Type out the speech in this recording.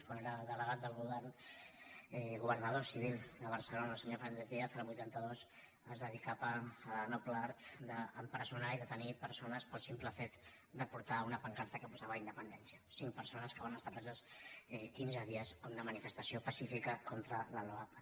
quan era delegat del govern governador civil de barcelona el senyor fernández díaz el vuitanta dos es dedicava al noble art d’empresonar i detenir persones pel simple fet de portar una pancarta que posava independència cinc persones que van estar preses quinze dies en una manifestació pacífica contra la loapa